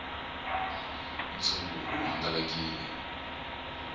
ntshungu wu hangalakile